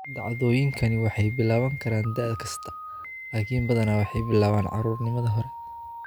Dhacdooyinku waxay bilaaban karaan da' kasta, laakiin badanaa waxay bilaabaan caruurnimada hore.